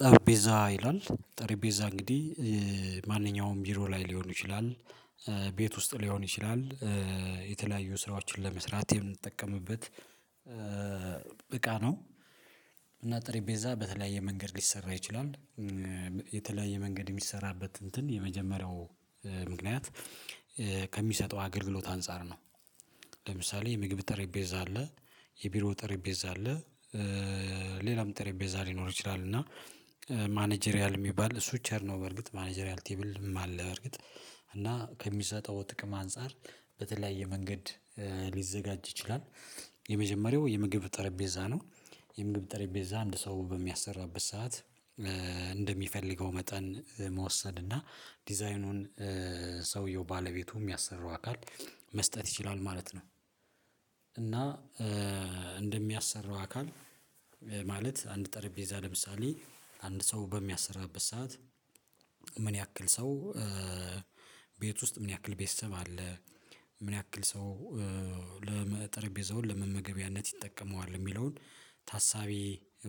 ጠረጴዛ ይላል ጠረጴዛ እንግዲህ ማንኛውም ቢሮ ላይ ሊሆኑ ይችላል ቤት ውስጥ ሊሆን ይችላል። የተለያዩ ስራዎችን ለመስራት የምንጠቀምበት እቃ ነው። እና ጠሪጴዛ በተለያየ መንገድ ሊሰራ ይችላል። የተለያየ መንገድ የሚሰራበት እንትን የመጀመሪያው ምክንያት ከሚሰጠው አገልግሎት አንፃር ነው። ለምሳሌ የምግብ ጠረጴዛ አለ የቢሮ ጠረጴዛ አለ። ሌላም ጠረጴዛ ሊኖር ይችላል እና ማኔጀሪያል እሚባል እሱ ቸር ነው በርግጥ ማኔጀሪያል ቴብልም አለ በርግጥ እና ከሚሰጠው ጥቅም አንፃር በተለያየ መንገድ ሊዘጋጅ ይችላል። የምግብ ጠረጴዛ ነው የምግብ ጠረጴዛ አንድ ሰው በሚያሰራበት ሰዓት እንደሚፈልገው መጠን መውሰድ እና ዲዛይኑን ሰውየው ባለቤቱ እሚያሰራው አካል መስጠት ይችላል ማለት ነው። እና እንደሚያሰራው አካል ማለት አንድ ጠረጴዛ ለምሳሌ አንድ ሰው በሚያሰራበት ሰዓት ምን ያክል ሰው ውስጥ ምን ያክል ቤተሰብ አለ ምን ያክል ሰው ጠረጴዛውን ለመመገቢያነት ይጠቀመዋል የሚለውን ታሳቢ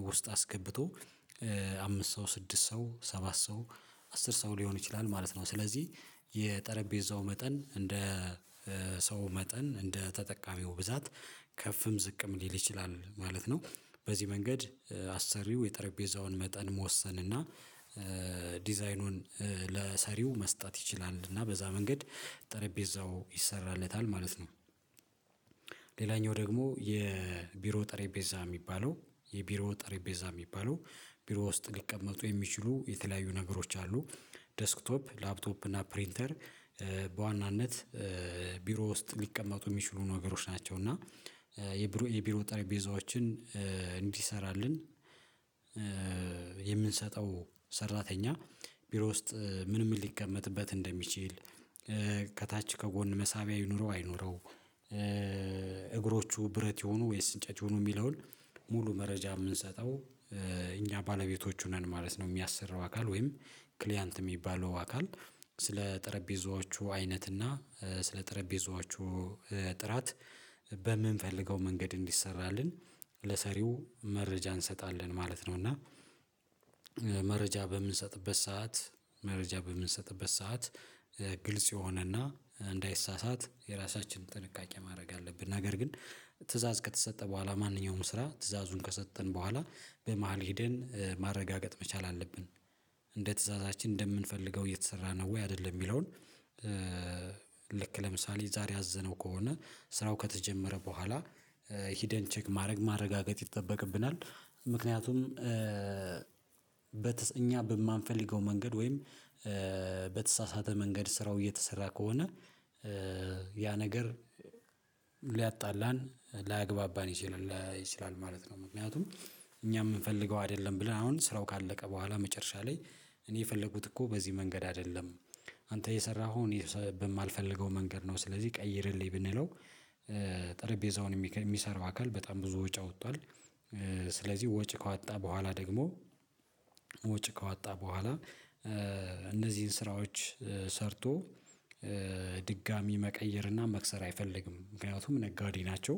ውስጥ አስገብቶ አምስት ሰው ስድስት ሰው ሰባት ሰው አስር ሰው ሊሆን ይችላል ማለት ነው። ስለዚህ የጠረጴዛው መጠን እንደ ሰው መጠን እንደ ተጠቃሚው ብዛት ከፍም ዝቅም ሊል ይችላል ማለት ነው። በዚህ መንገድ አሰሪው የጠረጴዛውን መጠን መወሰን እና ዲዛይኑን ለሰሪው መስጠት ይችላል እና በዛ መንገድ ጠረጴዛው ይሰራለታል ማለት ነው። ሌላኛው ደግሞ የቢሮ ጠሬጴዛ እሚባለው የቢሮ ጠሬጴዛ እሚባለው ቢሮ ውስጥ ሊቀመጡ የሚችሉ የተለያዩ ነገሮች አሉ ዴስክቶፕ ላፕቶፕ እና ፕሪንተር በዋናነት ቢሮ ውስጥ ሊቀመጡ እሚችሉ ነገሮች ናቸው። እና የቢሮ የቢሮ ጠረጴዛዎችን እንዲሰራልን የምንሰጠው ሰራተኛ ቢሮ ውስጥ ምን ምን ሊቀመጥበት እንደሚችል ከታች ከጎን መሳቢያ ይኑረው አይኑረው እግሮቹ ብረት የሁኑ ወይስ እንጨት ይሁኑ የሚለውን ሙሉ መረጃ እምንሰጠው እኛ ባለቤቶቹ ነን ማለት ነው። የሚያሰራው አካል ወይም ክሊያንት እሚባለው አካል ስለ ጠረጴዛዎቹ አይነት እና ስለ ጠረጴዛዎቹ ጥራት በምንፈልገው መንገድ እንዲሰራልን ለሰሪው መረጃ እንሰጣለን ማለት ነው። እና መረጃ በምንሰጥበት ሰዓት መረጃ በምንሰጥበት ሰዓት ግልጽ የሆነና እንዳይሳሳት የራሳችን ጥንቃቄ ማድረግ አለብን ነገር ግን ትእዛዝ ከተሰጠ በኋላ ማንኛውም ስራ ትዕዛዙን ከሰጠን በኋላ በመሃል ሄደን ማረጋገጥ መቻል አለብን። እንደ ትዕዛዛችን እንደምንፈልገው እየተሰራ ነው ወይ አይደለም እሚለውን? ልክ ለምሳሌ ዛሬ አዘነው ከሆነ ስራው ከተጀመረ ቡሃላ ሂደን ቼክ ማድረግ ማረጋገጥ ይጠበቅብናል ምክንያቱም እኛ በማንፈልገው መንገድ ወይም በተሳሳተ መንገድ ስራው እየተሰራ ከሆነ ያ ነገር ሊያጣላን ላያግባባን ይችላል ማለት ነው። ምክንያቱም እኛ እምንፈልገው አይደለም ብለን አሁን ስራው ካለቀ ቡሃላ መጨረሻ ላይ እኔ የፈለኩት እኮ በዚህ መንገድ አይደለም አንተ የሰራኸው እኔ በማልፈልገው መንገድ ነው። ስለዚህ ቀይርልኝ ብንለው ጠረጴዛውን እሚሰራው አካል በጣም ብዙ ወጭ አውጥቷል። ስለዚህ ወጭ ከዋጣ ቡሃላ ደግሞ ወጪ ከዋጣ ቡሃላ እነዚህን ስራዎች ሰርቶ ድጋሚ መቀየር እና መክሰር አይፈልግም ምክንያቱም ነጋዴ ናቸው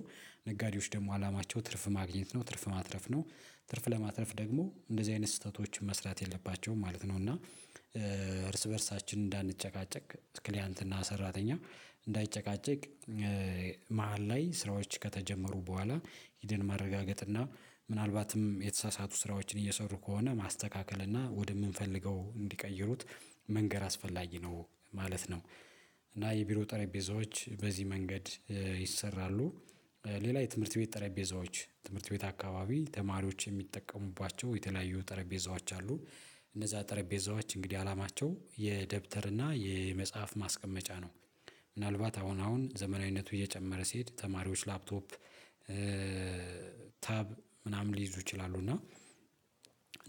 ነጋዴዎች ደግሞ አላማቸው ትርፍ ማግኘት ነው ትርፍ ማትረፍ ነው ትርፍ ለማትረፍ ደግሞ እንደዚህ አይነት ስህተቶችን መስራት የለባቸውም ማለት ነው። እና እርስ በእርሳችን እንዳንጨቃጨቅ ክሊያንት እና ሰራተኛ እንዳይጨቃጨቅ መሃል ላይ ስራዎች ከተጀመሩ በኋላ ሂደን ማረጋገጥ እና ምናልባትም የተሳሳቱ ስራዎችን እየሰሩ ከሆነ ማስተካከል እና ወደምንፈልገው እንዲቀይሩት መንገር አስፈላጊ ነው ማለት ነው። እና የቢሮ ጠረጴዛዎች በዚህ መንገድ ይሰራሉ። ሌላ የትምህርት ቤት ጠረጴዛዎች ትምህርት ቤት አካባቢ ተማሪዎች የሚጠቀሙባቸው የተለያዩ ጠረጴዛዎች አሉ እነዛ ጠረጴዛዎች እንግዲህ አላማቸው የደብተር እና የመጽሐፍ ማስቀመጫ ነው። ምናልባት አሁን አሁን ዘመናዊነቱ እየጨመረ ሲሄድ ተማሪዎች ላፕቶፕ ታብ ምናምን ሊይዙ ይችላሉ እና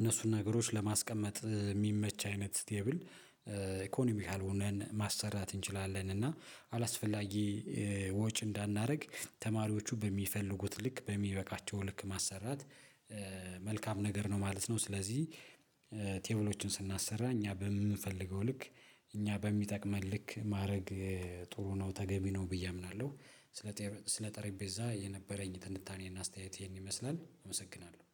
እነሱን ነገሮች ለማስቀመጥ እሚመች አይነት ስቴብል ኢኮኖሚካል ሆነን ማሰራት እንችላለን። እና አላስፈላጊ ወጭ እንዳናደርግ ተማሪዎቹ በሚፈልጉት ልክ በሚበቃቸው ልክ ማሰራት መልካም ነገር ነው ማለት ነው። ስለዚህ ቴብሎችን ስናሰራ እኛ በምንፈልገው ልክ እኛ በሚጠቅመን ልክ ማድረግ ጥሩ ነው ተገቢ ነው ብዬ አምናለሁ። ስለ ስለ ጠረጴዛ የነበረኝ ትንታኔና አስተያየት ይሄን ይመስላል አመሰግናለሁ